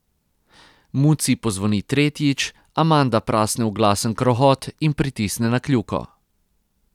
Muci pozvoni tretjič, Amanda prasne v glasen krohot in pritisne na kljuko.